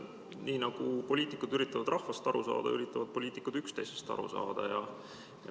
Nii nagu poliitikud üritavad rahvast aru saada, nii üritavad poliitikud ka üksteisest aru saada.